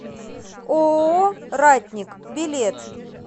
ооо ратник билет